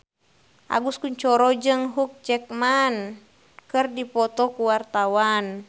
Agus Kuncoro jeung Hugh Jackman keur dipoto ku wartawan